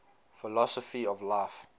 philosophy of life